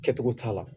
Kɛcogo t'a la